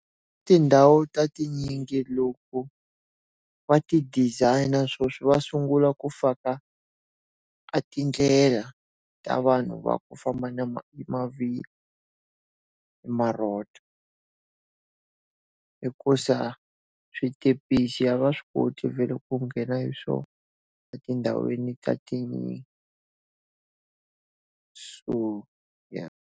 Tindhawu ta tinyingi loko va ti designer sweswi va sungula ku faka a tindlela ta vanhu va ku famba na hi mavhilwa hikusa switepisi ya va swi koti vhele ku nghena hi swona etindhawini ta ti so .